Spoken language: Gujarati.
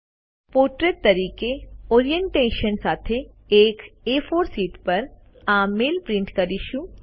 આપણે પોર્ટ્રેટ તરીકે ઓરિએન્ટેશન સાથે એક એ4 શીટ પર આ મેઇલ પ્રિન્ટ કરીશું